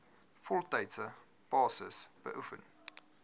voltydse basis beoefen